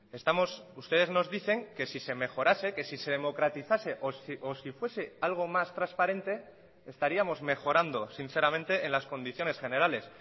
estamos ustedes nos dicen que si se mejorase que si se democratizase o si fuese algo más transparente estaríamos mejorando sinceramente en las condiciones generales